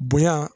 Bonya